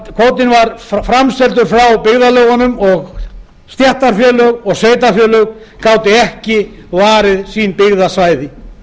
kvótinn var framseldur frá byggðarlögunum og stéttarfélög og sveitarfélög gátu ekki varið sín byggðasvæði